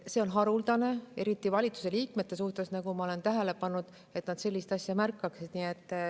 See on haruldane eriti valitsusliikmete seas, nagu ma olen tähele pannud, et nad sellist asja märkaksid.